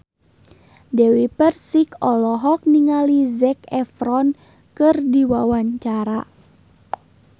Dewi Persik olohok ningali Zac Efron keur diwawancara